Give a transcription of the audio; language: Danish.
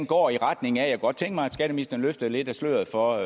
går i retning af jeg kunne godt tænke mig at skatteministeren løftede lidt af sløret for